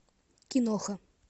киноха